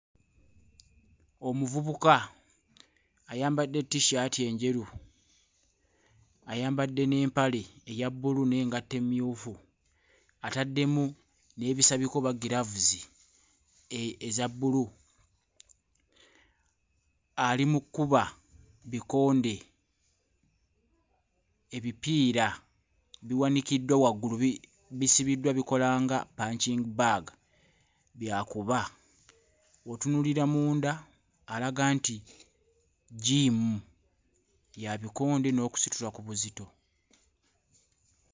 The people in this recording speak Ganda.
Omuvubuka ayambadde ttissaati enjeru, ayambadde n'empale eya bbulu n'engatto emmyufu, ataddemu n'ebisabika oba giraavuzi eza bbulu, ali mu kkuba bikonde. Ebipiira biwanikiddwa waggulu bi... bisibiddwa bikola nga punching bag, by'akuba. W'otunuulira munda alaga nti jjiimu ya bikonde n'okusitula ku buzito.